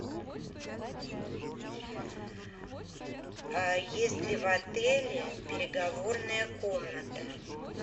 есть ли в отеле переговорная комната